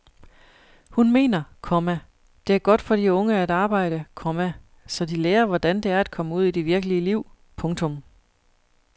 Hun mener, komma det er godt for de unge at arbejde, komma så de lærer hvordan det er at komme ud i det virkelige liv. punktum